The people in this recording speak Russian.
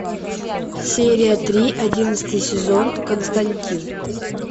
серия три одиннадцатый сезон константин